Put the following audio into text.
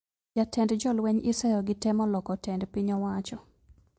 Jatend jolweny iseyo gi temo loko tend piny owacho